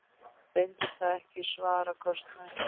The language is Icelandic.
Reyndist það ekki svara kostnaði.